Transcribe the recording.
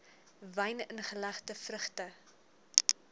wyn ingelegde vrugte